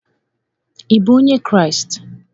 Ị bụ onye Kraịst?